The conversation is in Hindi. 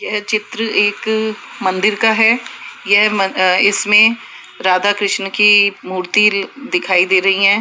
यह चित्र एक मंदिर का है यह मन इसमें राधा कृष्ण की मूर्ति दिखाई दे रही है।